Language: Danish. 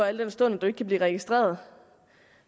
al den stund at du ikke kan blive registreret